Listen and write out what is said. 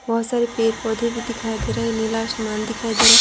बहुत सारे पेड़-पौधे भी दिखाई दे रहे हैं नीला असमान दिखाई दे रहा है।